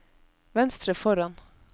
venstre foran